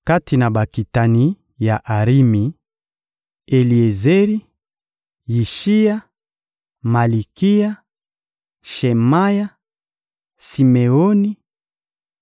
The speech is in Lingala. Kati na bakitani ya Arimi: Eliezeri, Yishiya, Malikiya, Shemaya, Simeoni,